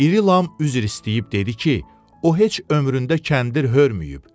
İri Lam üzr istəyib dedi ki, o heç ömründə kəndir hörməyib.